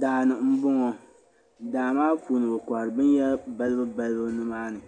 Daani n bɔŋɔ daa maa puuni bɛ kohiri bɛn yahiri balibu balibu nimaani,